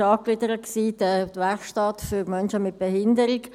Angegliedert war die Werkstatt für Menschen mit Behinderung.